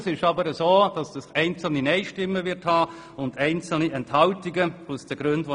Es wird jedoch einzelne Nein-Stimmen und Enthaltungen geben.